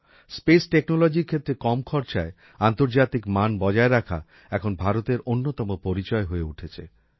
space Technologyর ক্ষেত্রে কম খরচায় আন্তর্জাতিক মান বজায় রাখা এখন ভারতের অন্যতম পরিচয় হয়ে উঠেছে